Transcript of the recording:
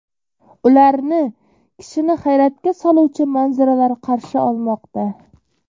Ularni kishini hayratga soluvchi manzaralar qarshi olmoqda.